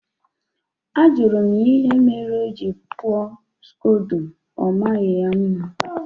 Ajụrụ m ya ihe mere o ji kpụọ Skodo, ọmaghị ya mma